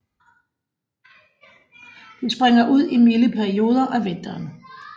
De springer ud i milde perioder af vinteren